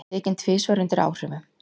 Tekinn tvisvar undir áhrifum